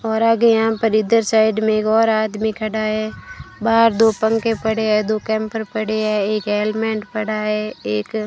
और आगे यहां पर इधर साइड में एक और आदमी खड़ा है बाहर दो पंखे पड़े हैं दो कैम्पर पड़े हैं एक हेलमेट पड़ा है एक --